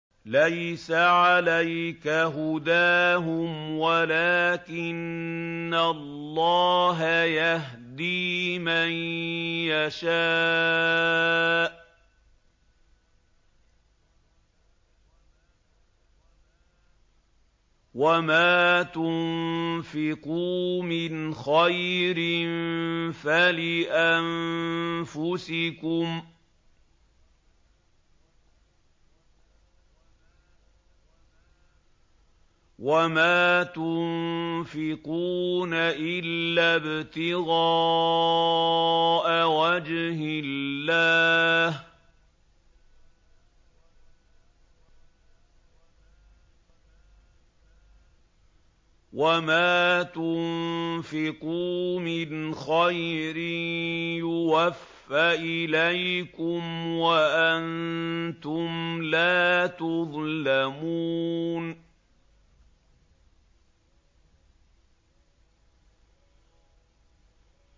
۞ لَّيْسَ عَلَيْكَ هُدَاهُمْ وَلَٰكِنَّ اللَّهَ يَهْدِي مَن يَشَاءُ ۗ وَمَا تُنفِقُوا مِنْ خَيْرٍ فَلِأَنفُسِكُمْ ۚ وَمَا تُنفِقُونَ إِلَّا ابْتِغَاءَ وَجْهِ اللَّهِ ۚ وَمَا تُنفِقُوا مِنْ خَيْرٍ يُوَفَّ إِلَيْكُمْ وَأَنتُمْ لَا تُظْلَمُونَ